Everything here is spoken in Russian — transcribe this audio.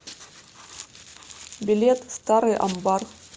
билет старый амбар